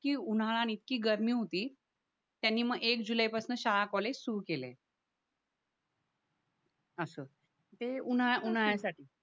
की उन्हाळा आणि इतकी गर्मी होती त्यांनी मग एक जुलैपासून शाळा कॉलेज सुरू केलं अस ते उन्हाळा उन्हाळ्यासाठी